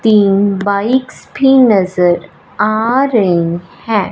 तीन बाइक्स भी नजर आ रहीं है।